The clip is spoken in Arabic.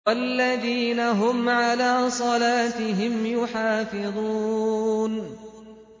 وَالَّذِينَ هُمْ عَلَىٰ صَلَاتِهِمْ يُحَافِظُونَ